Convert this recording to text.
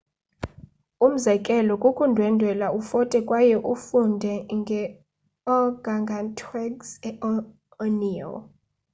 umzekelo kukundwendwela ufote kwaye ufunde nge organgatuangs e orneo